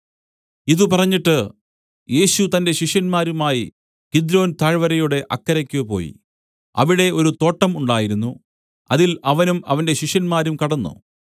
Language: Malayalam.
ഇതു പറഞ്ഞിട്ട് യേശു തന്റെ ശിഷ്യന്മാരുമായി കിദ്രോൻ താഴ്വരയുടെ അക്കരയ്ക്ക് പോയി അവിടെ ഒരു തോട്ടം ഉണ്ടായിരുന്നു അതിൽ അവനും അവന്റെ ശിഷ്യന്മാരും കടന്നു